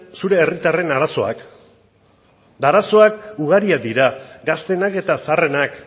zure herritarren arazoak arazoak ugariak dira gazteenak eta zaharrenak